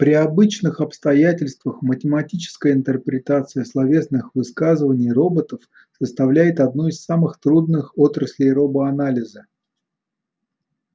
при обычных обстоятельствах математическая интерпретация словесных высказываний роботов составляет одну из самых трудных отраслей робоанализа